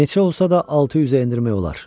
Neçə olsa da 600-ə endirmək olar.